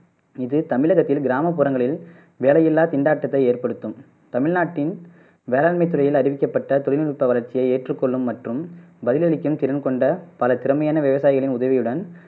இது தமிழகத்தின் கிராமப்புறங்களில் வேலையில்லா திண்டாட்டத்தை ஏற்படுத்தும் தமிழ்நாட்டின் வேளான்மை துறையில் அறிவிக்கப்பட்ட தொழில்நுட்ப வளர்ச்சியை ஏற்றுக்கொள்ளும் மற்றும் பதிலளிக்கும் திறன் கொண்ட பல திறமையான விவசாயிகளின் உதவியுடன்